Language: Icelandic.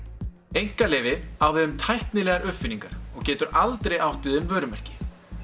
einkaleyfi á við um tæknilegar uppfinningar og getur aldrei átt við um vörumerki